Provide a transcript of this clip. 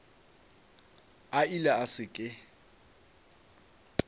a ile a se ke